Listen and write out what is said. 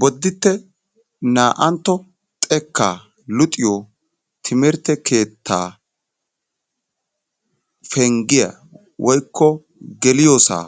bodditte naa"antto xekka luxiyyo timirtte keettaa penggiyaa woykko geliyoossa